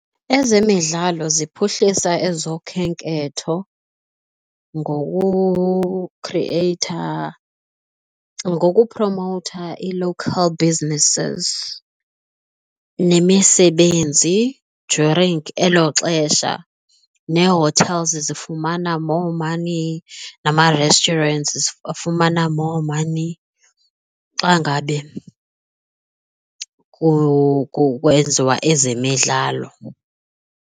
Ezemidlalo ziphuhlisa ezokhenketho ngokukhrieyitha, ngokupromowutha i-local business nemisebenzi during elo xesha nee-hotels zifumana more money nama-restaurant afumana more money xa ngabe kwenziwa ezemidlalo.